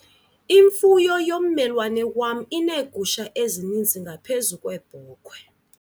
Imfuyo yommelwane wam ineegusha ezininzi ngaphezu kweebhokhwe.